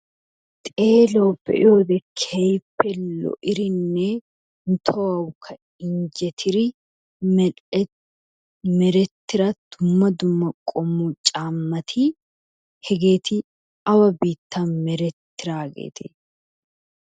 xeeluwawu be'iyode keehippe lo'idinne tohuwawukka injettidi medhe meretida dumma dumma qommo caamati hegeeti awa biittan meretidaageetee?